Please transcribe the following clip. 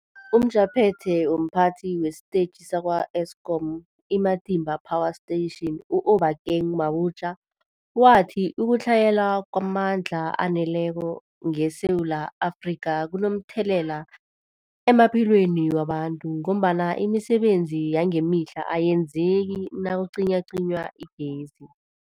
UmJaphethe womPhathi wesiTetjhi sakwa-Eskom i-Matimba Power Station u-Obakeng Mabotja wathi ukutlhayela kwamandla aneleko ngeSewula Afrika kunomthelela emaphilweni wabantu ngombana imisebenzi yangemihla ayenzeki nakucinywacinywa igezi.